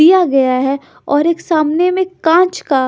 दिया गया है और एक सामने में कांच का--